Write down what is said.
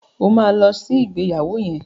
O ma lọ sí ìgbéyàwó yẹn!